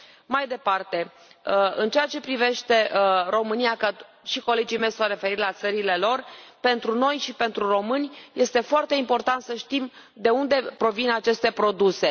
Mai departe, în ceea ce privește România și colegii mei s au referit la țările lor pentru noi și pentru români este foarte important să știm de unde provin aceste produse.